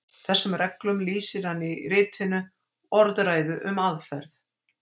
Þessum reglum lýsir hann í ritinu Orðræðu um aðferð.